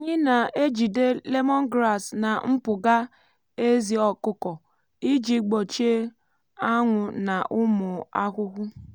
anyị na-ejide lemongrass na mpụga ezí ọkụkọ iji gbochie ánwú na ụmụ ahụhụ.